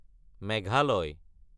Meghalaya